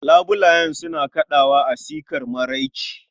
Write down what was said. labulayen suna kadawa a sikar marece